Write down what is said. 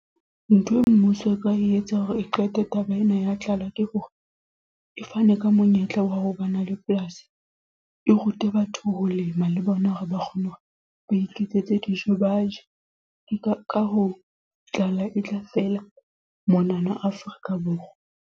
Ntho e mmuso e ka e etsang hore e qete taba ena ya tlala. Ke hore, e fane ka monyetla wa ho ba na le polasi. E rute batho ho lema, le bona hore ba kgone hore ba iketsetse dijo baje. Ke ka ho tlala e tla fela monana Afrika Borwa.